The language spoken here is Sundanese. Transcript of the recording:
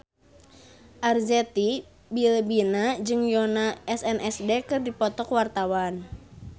Arzetti Bilbina jeung Yoona SNSD keur dipoto ku wartawan